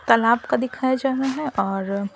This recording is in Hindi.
तालाब का दिखाया जा रहा है और--